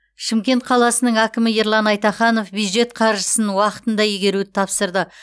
шымкент қаласының әкімі ерлан айтаханов бюджет қаржысын уақытында игеруді тапсырды